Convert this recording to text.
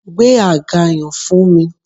Gbé àga yan fún mi